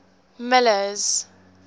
miller's